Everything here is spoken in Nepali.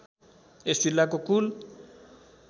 यस जिल्लाको कुल